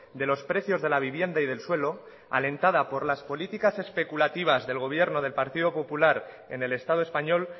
de los precios de la vivienda y del suelo alentada por las políticas especulativas del gobierno del partido popular en el estado español